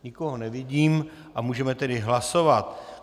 Nikoho nevidím a můžeme tedy hlasovat.